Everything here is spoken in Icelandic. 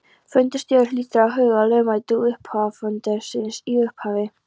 Fundarstjóri hlýtur að huga að lögmæti hluthafafundarins í upphafi.